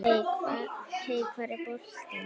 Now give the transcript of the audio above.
Hey hvar er boltinn?